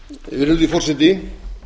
virðulegi forseti